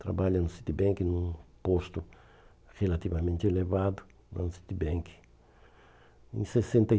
Trabalha no Citibank num posto relativamente elevado. citibank